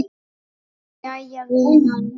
Nú, jæja, vinan.